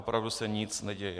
Opravdu se nic neděje.